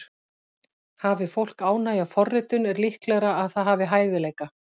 Hafi fólk ánægju af forritun er líklegra að það hafi hæfileika.